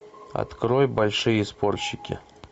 открой большие спорщики